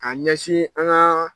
A ɲɛsin an ka